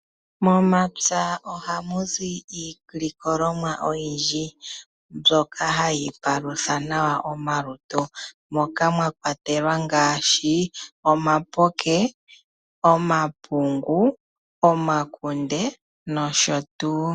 Momapya ohamu zi iilikolomwa oyindji mbyoka hayi palutha nawa omalutu, moka mwa kwatelwa omapoke, omapungu, omakunde noshotuu.